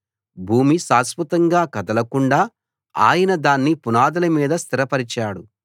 భూమి శాశ్వతంగా కదలకుండా ఆయన దాన్ని పునాదుల మీద స్థిరపరిచాడు